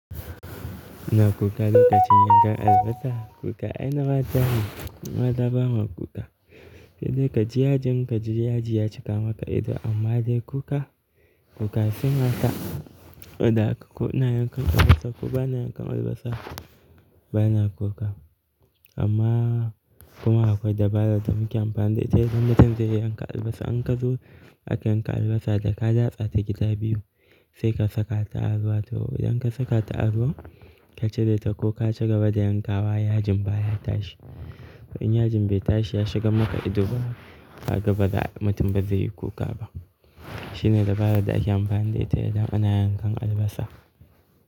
Ina kuka lokacin yanka albasa? Kuka ai na mata ne, mu maza ba ma kuka. Sai dai ka ji yajin ka ji yaji ya cika maka ido amma dai kuka, kuka sai mata. Ko da haka ko ina yankan albasa ko ba na yankan albasa bana kuka. Amma kuma akwai dabara da muke amfani da ita idan mutum zai yi yankan albasa. In ka zo aka yanka albasa da ka datsa ta gida biyu sai ka saka ta a ruwa to idan ka saka ta ruwa ka cire ta ko ka ci gaba da yankawa yajin baya tashi. In yajin bai tashi ya shiga maka ido ba kaga baza mutum bazai yi kuka ba. Shine dabaran da ake amfani da ita idan ana yankan albasa.